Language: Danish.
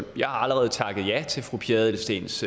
jeg har allerede takket ja til fru pia adelsteens